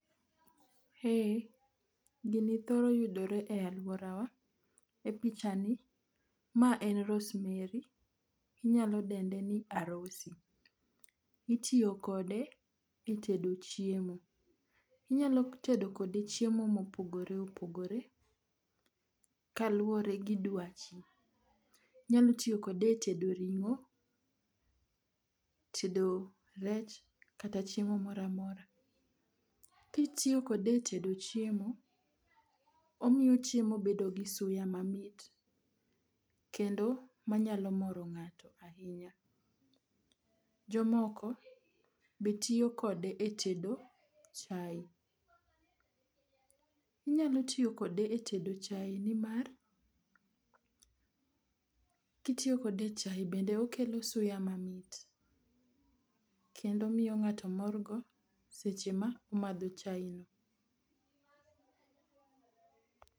Eh, gini thoro yudore e alworawa. E pichani ma en rosemary inyalo dende ni arosy. Itiyo kode e tedo chiemo. Inyalo tedo kode chiemo opogore kaluwore gi dwachi. Inyalo tiyo kode e tedo ring'o, tedo rech kata chiemo moro amora. Kitiyo kode e tedo chiemo, omiyo chiemo bedo gi suya mamit kendo manyalo moro ng'ato ahinya. Jomoko be tiyo kode e tedo chae. Inyalo tiyo kode e tedo chae nimar, kitiyo kode e chae bende okelo suya mamit kendo omiyo ng'ato morgo seche ma omadho chae no.